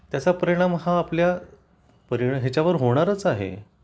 त्याचा परिणाम हा आपल्या याच्यावर होणारच आहे